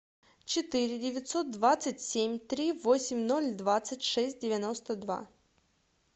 четыре девятьсот двадцать семь три восемь ноль двадцать шесть девяносто два